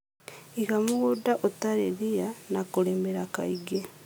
Iga mũgũnda ũtarĩ ria na kũrĩmĩra kaingĩ